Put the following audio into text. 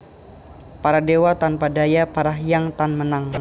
Para dewa tanpa daya para hyang tan menang